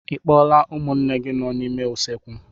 Ị kpọọla ụmụnne gị nọ n'ime usekwu?